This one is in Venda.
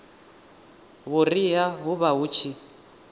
vhuriha hu vha hu tshi